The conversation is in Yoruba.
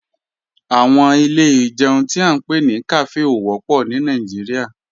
Àwọn ilé ìjẹun tí à ń pè ní kàfé ò wọ́pọ̀ ní Nàìjíríà